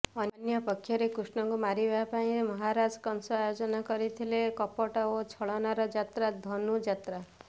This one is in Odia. ଅନ୍ୟ ପକ୍ଷରେ କୃଷ୍ଣଙ୍କୁ ମାରିବା ପାଇଁ ମହାରାଜା କଂସ ଆୟୋଜନ କରିଥିଲେ କପଟ ଓ ଛଳନାର ଯାତ୍ରା ଧନୁଯାତ୍ରା